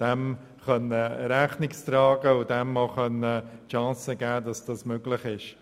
Dem sollte Rechnung getragen und die Chance gegeben werden, dies zu ermöglichen.